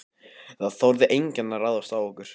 Það þorði enginn að ráðast á okkur.